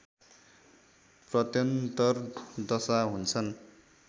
प्रत्यन्तर दशा हुन्छन्